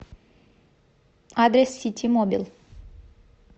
адрес ситимобил